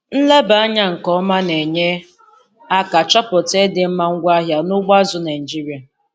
Nleba anya nke ọma na-enye aka chọpụta ịdị mma ngwaahịa n'ugbo azụ̀ Naịjiria.